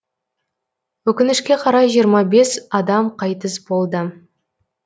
өкінішке қарай жиырма бес адам қайтыс болды